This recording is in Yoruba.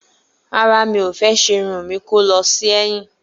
Rárá, mi o fe sé irun mi kó lọ sí èyìn